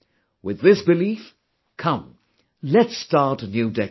With this belief, come, let's start a new decade